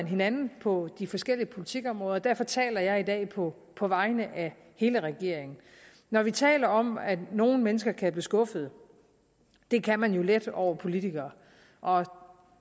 hinanden på de forskellige politikområder og derfor taler jeg i dag på på vegne af hele regeringen når vi taler om at nogle mennesker kan blive skuffede det kan man jo let over politikere og